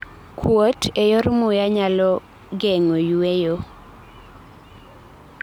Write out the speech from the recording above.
kuot e yore muya kalo nyalo geng'o yweyo